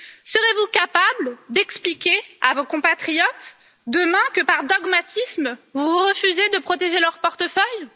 Serez vous capable d'expliquer à vos compatriotes, demain, que par dogmatisme vous refusez de protéger leur portefeuille?